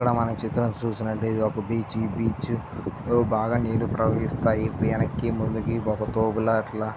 ఇక్కడ మనం చిత్రం చూస్తున్నట్లయితే ఇది ఒక బీచ్ . ఈ బీచ్ లో బాగా నీళ్లు ప్రవహిస్తాయి. వెనక్కి ముందుకు ఒక తోబులాట్ల.